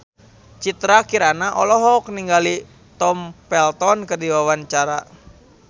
Citra Kirana olohok ningali Tom Felton keur diwawancara